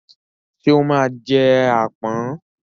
Ṣé ó máa jẹ àpọ̀n?